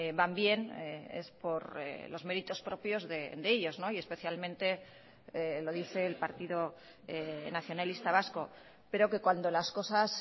van bien es por los méritos propios de ellos y especialmente lo dice el partido nacionalista vasco pero que cuando las cosas